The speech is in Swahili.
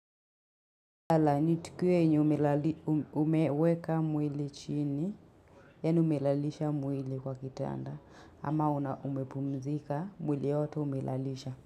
Lala, ni tukio yenye umeweka mwili chini, yaani umelalisha mwili kwa kitanda, ama umepumzika mwili yote umelalisha.